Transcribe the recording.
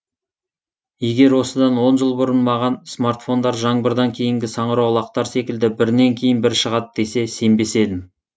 егер осыдан он жыл бұрын маған смартфондар жаңбырдан кейінгі саңырауқұлақтар секілді бірінен кейін бірі шығады десе сенбес едім